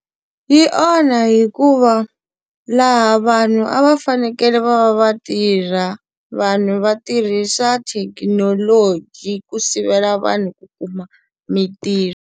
Yi onha hikuva laha vanhu a va fanekele va va va tirha, vanhu va tirhisa thekinoloji ku sivela vanhu ku kuma mitirho.